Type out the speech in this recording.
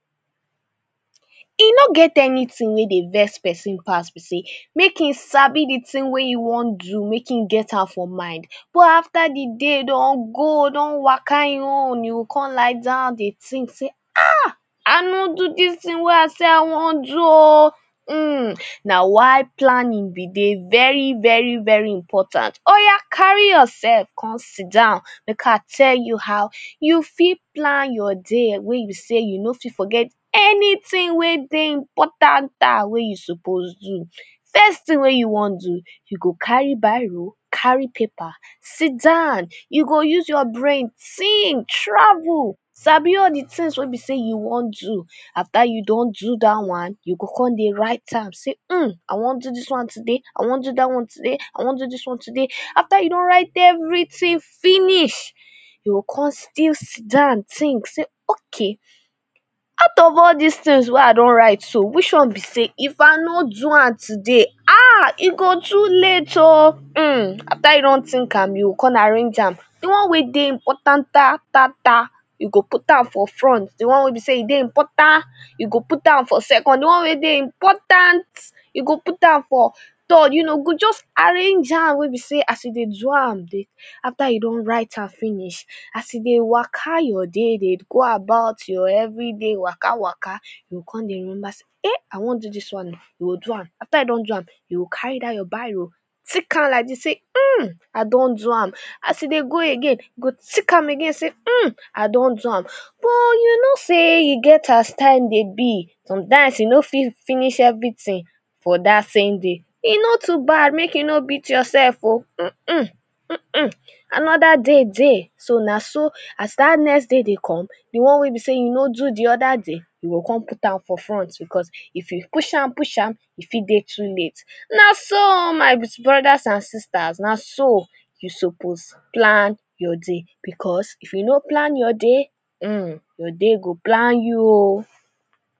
E no get anything wey dey vex person pass be say mek him Sabi de tin wey you wan do make him get am for mind but after de day don go don waka him own you go com lie down dey tink say ah I no do dis tin wey I say I wan do oo hm na why planning be dey very very very important oya carry yourself com sidown make I tell you how you fit plan your day wey you say you no fit forget anytin wey dey important wey you suppose do first tin wey you wan do you go carry biro carry paper sidown you go use your brain tink travel sabi all de tins wey you say you wan do after you don do dat one you go com dey write am say hmm I wan do dis one today I wan do dat one today I wan do dis one today after you don write everytin finish you go come still sit down tink say okay out of all dis tins wey I don write so wich one be say if I no do am today e go too late oo hmm after you don tink am you go com arrange am de one wey dey importanttata you go put am for front de one wey be say e dey importantta you go put am for second de one wey be say e dey important you go put am for third you know you go just arrange am wey be say as you dey do am after you don write am finish as e dey waka your day dey go about your everyday waka waka you go com remember say eh I wan do dis one oo you go do am after you don do am you go carry dat your biro tick am like dis say hmm I don do am as you dey go again you to tick am again say hmm I don do am but you know say e get as time dey be sometime you no fit finish everytin for dat same day e no too bad mek you no beat yourself oo hmm anoda day dey so na so as dat next day dey com de one wey be say you no do de other day you go com put am for front becos if you push am push am e fit dey too late na so oo my brother’s an sisters na so e suppose plan your day because if you no plan you day hmmm your day go plan you oo